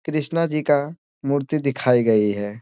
कृष्णा जी का मूर्ति दिखाई गई है।